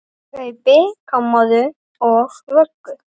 Kaupi kommóðu og vöggu.